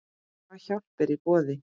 Hvað hjálp er í boði?